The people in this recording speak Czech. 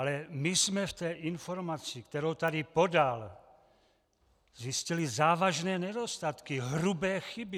Ale my jsme v té informaci, kterou tady podal, zjistili závažné nedostatky, hrubé chyby.